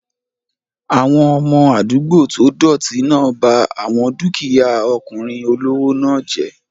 Àwọn ọmọ àdúgbò tó dọ̀ọ̀tì náà ba àwọn dúkìyá ọkùnrin olówó náà jẹ́